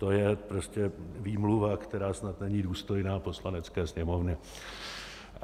To je prostě výmluva, která snad není důstojná Poslanecké sněmovny.